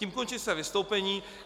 Tím končím své vystoupení.